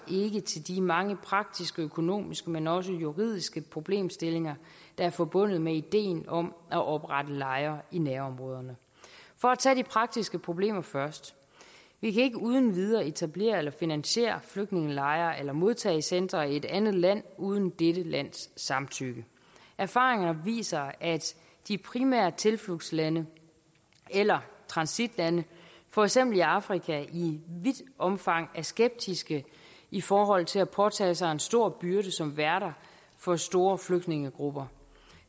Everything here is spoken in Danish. til de mange praktiske og økonomiske men også juridiske problemstillinger der er forbundet med ideen om at oprette lejre i nærområderne for at tage de praktiske problemer først vi kan ikke uden videre etablere eller finansiere flygtningelejre eller modtagecentre i et andet land uden dette lands samtykke erfaringer viser at de primære tilflugtslande eller transitlande for eksempel i afrika i vidt omfang er skeptiske i forhold til at påtage sig en stor byrde som værter for store flygtningegrupper